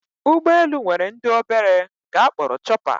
Ụgbọelu nwere ndị obere nke a kpọrọ chọpa